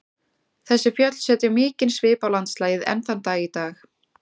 Þessi fjöll setja mikinn svip á landslagið enn þann dag í dag.